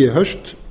í haust